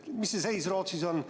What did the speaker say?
Mis see seis Rootsis on?